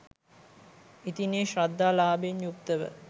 ඉතින් ඒ ශ්‍රද්ධා ලාභයෙන් යුක්තව